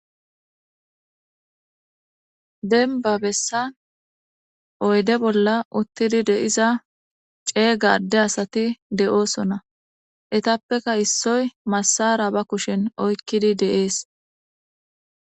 Denba bessan oyde bolla uttidi deiza ceeyga adde asati de'oosona etappeka issoy massara ba kushen oykkidi de'ees